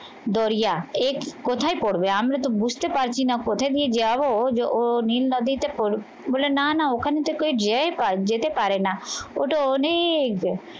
বলিয়া এক কোথায় করবে আমরা তো বুঝতে পারছি না কোথায় দিয়ে যাবো যে ও নীল নদী দিতে বলে না না ওখানে থেকেই যেতে পারে না ওটা অনেক